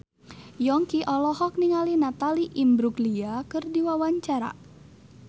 Yongki olohok ningali Natalie Imbruglia keur diwawancara